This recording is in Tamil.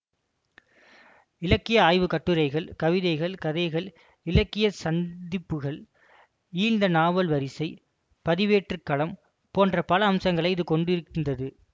இலக்கிய ஆய்வு கட்டுரைகள் கவிதைகள் கதைகள் இலக்கிய சந்திப்புகள் ஈழத்த நாவல் வரிசை பதிவேற்றுக்களம் போன்ற பல அம்சங்களை இது கொண்டிருந்தது